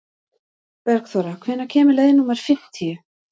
Bergþóra, hvenær kemur leið númer fimmtíu?